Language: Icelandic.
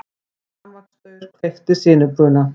Rafmagnsstaur kveikti sinubruna